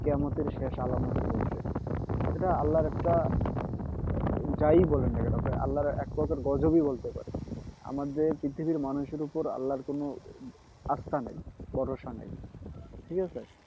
কিয়ামতের শেষ আলামতের এটা আল্লাহর একটা যাই বলেন না কেন আল্লাহর এক প্রকার গজব ই বলতে পারেন আমাদের পৃথিবীর মানুষের ওপর আল্লাহর কোনো আস্থা নেই ভরসা নেই ঠিক আছে